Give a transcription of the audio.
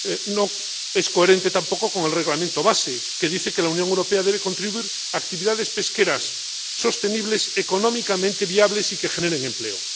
No es coherente tampoco con el Reglamento de base, que dice que la Unión Europea debe contribuir a actividades pesqueras sostenibles, económicamente viables y que generen empleo.